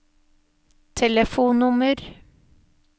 telefonnummer